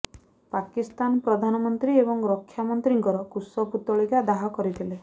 ପାକିସ୍ତାନ ପ୍ରଧାନମନ୍ତ୍ରୀ ଏବଂ ରକ୍ଷା ମନ୍ତ୍ରୀଙ୍କର କୁଶ ପୁତଳିକା ଦାହ କରିଥିଲେ